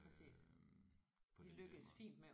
Øh på den der måde